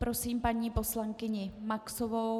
Prosím paní poslankyni Maxovou.